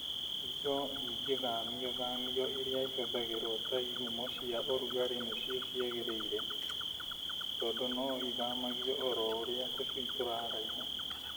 Indo ingĩthamiothamio iria ihũthagĩrwo ta ihumo cia ũrugarĩ nĩcio ciagĩrĩire, tondũ no ithamagio oro ũrĩa tũcui tũraraiha.